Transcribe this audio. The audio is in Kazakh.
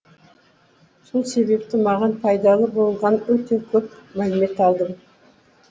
сол себепті маған пайдалы болған өте көп мәлімет алдым